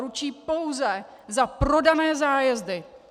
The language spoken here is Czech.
Ručí pouze za prodané zájezdy.